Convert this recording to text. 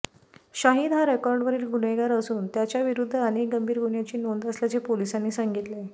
शाहिद हा रेकॉर्डवरील गुन्हेगार असून त्याच्याविरुद्ध अनेक गंभीर गुन्ह्यांची नोंद असल्याचे पोलिसांनी सांगितले